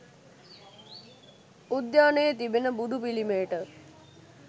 උද්‍යානයේ තිබෙන බුදු පිළිමයට